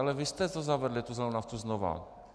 Ale vy jste to zavedli, tu zelenou naftu, znova.